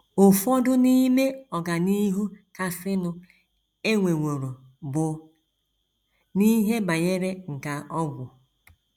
Ụfọdụ n’ime ọganihu kasịnụ e nweworo bụ n’ihe banyere nkà ọgwụ.